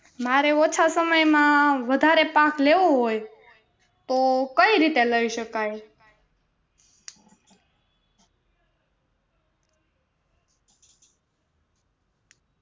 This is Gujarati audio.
મારે ઓછા સમયમાં વધારે પાક લેવો હોય તો કેવી રીતે લઇ શકાય